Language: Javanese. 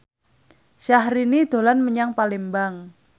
Syahrini dolan menyang Palembang